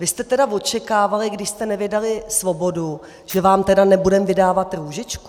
Vy jste tedy očekávali, když jste nevydali Svobodu, že vám tedy nebudeme vydávat Růžičku?